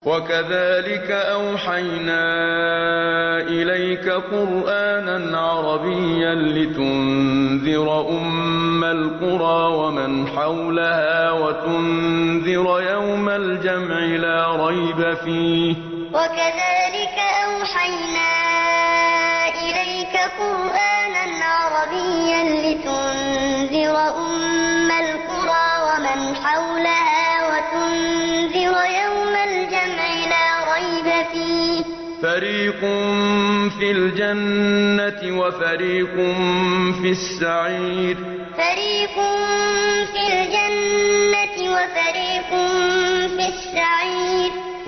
وَكَذَٰلِكَ أَوْحَيْنَا إِلَيْكَ قُرْآنًا عَرَبِيًّا لِّتُنذِرَ أُمَّ الْقُرَىٰ وَمَنْ حَوْلَهَا وَتُنذِرَ يَوْمَ الْجَمْعِ لَا رَيْبَ فِيهِ ۚ فَرِيقٌ فِي الْجَنَّةِ وَفَرِيقٌ فِي السَّعِيرِ وَكَذَٰلِكَ أَوْحَيْنَا إِلَيْكَ قُرْآنًا عَرَبِيًّا لِّتُنذِرَ أُمَّ الْقُرَىٰ وَمَنْ حَوْلَهَا وَتُنذِرَ يَوْمَ الْجَمْعِ لَا رَيْبَ فِيهِ ۚ فَرِيقٌ فِي الْجَنَّةِ وَفَرِيقٌ فِي السَّعِيرِ